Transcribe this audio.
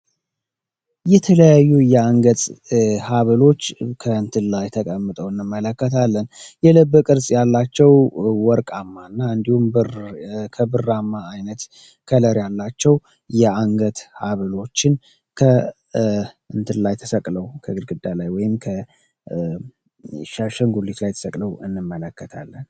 የተለያዩ የአንገት ሀብሎች ከእንትን ላይ ተቀምጠው እነመለከታለን ያላቸው ወርቃማ እንዲሁም በከብራማ አይነት ከለር ያላቸው የአንገት ከእንትን ላይ ወይምከግድግዳ ላይ ተሰቅለዉ እንመለከታለን።